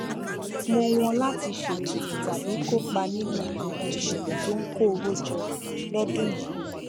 mọ wọn láti ṣètò tàbí kópa nínú àwọn ìṣẹlẹ tó ń kó owó jọ lọdún yìí